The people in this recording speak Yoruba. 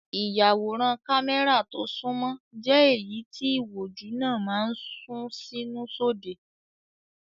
Ìyàwòrán kámẹ́rà tó sunmọ́ jẹ́ èyí tí ìwòjú náà máa ń sún sínú sóde.